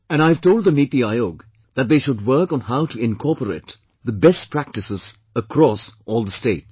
And I have told the Niti Aayog that they should work on how to incorporate the best practices across all the states